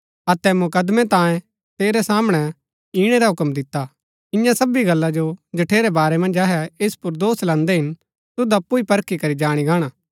अतै मुकदमैं तांयें तेरै सामणै ईणै रा हूक्म दिता] इन्या सबी गल्ला जो जठेरै बारै मन्ज अहै ऐस पुर दोष लान्दै हिन तुद अप्पु ही परखी करी जाणी गाणा